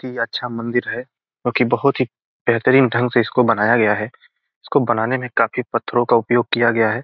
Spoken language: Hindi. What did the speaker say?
की अच्छा मंदिर है जो की बहोत ही बेहतरीन ढंग से इसको बनाया गया है इसको बनाने में काफी पत्थरों का उपयोग किया गया है।